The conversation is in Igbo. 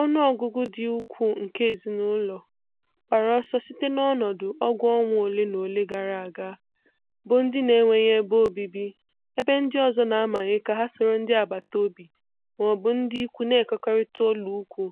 Ọnụ ọgụgụ dị ukwuu nke ezinụlọ, gbara ọsọ site n’ọnọdụ ọgụ ọnwa ole na ole gara aga, bụ ndị na-enweghị ebe obibi ebe ndị ọzọ na-amanye ka ha soro ndị agbata obi ma ọ bụ ndị ikwu na-ekekọrịta ụlọikwuu